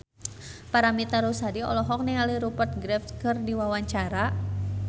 Paramitha Rusady olohok ningali Rupert Graves keur diwawancara